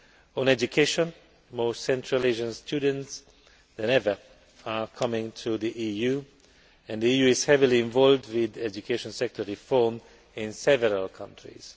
On education, more Central Asian students than ever are coming to the EU and the EU is heavily involved with education sector reform in several countries.